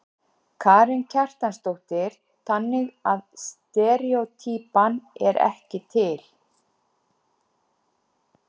Karen Kjartansdóttir: Þannig að steríótýpan er ekki til?